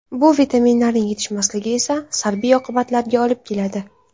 Bu vitaminlarning yetishmasligi esa salbiy oqibatlarga olib keladi.